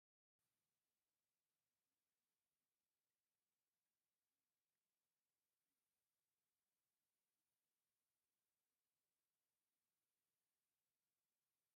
እዚ ዓብይ ናይ ኤሌክትሪክ ሓይሊ መከፋፈልን መ'ዐቐብን ኣቕሓ ኾይኑ ጠጠው ኢሉ ወይ ድማ ተተኺለየ እዩ ዘሎ ። ሹሙ ኸ እንታይ ይበሃል?